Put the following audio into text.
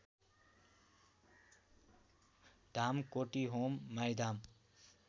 धाम कोटीहोम माईधाम